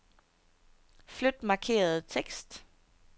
Flyt markerede tekst.